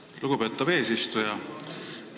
Aitäh, lugupeetav eesistuja!